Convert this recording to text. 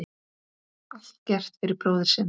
Allt gert fyrir bróðir sinn.